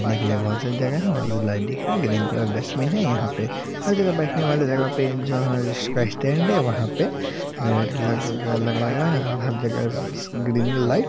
ने के लिए बहुत सारी जगह है वह भी और लाइट दिख रहा है ग्रीन कलर का डस्टबिन है यहाँ पे हर जगह बैठने वाली जगह पर जहां पर उसका स्टैंड है वहा पे लग-लगाया हुआ है और हर जगह स स ग्रीन लाइट ---